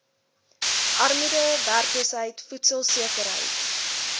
armoede werkloosheid voedselsekerheid